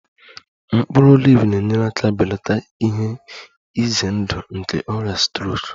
Mkpụrụ oliv na-enyere aka belata ihe ize ndụ nke ọrịa strok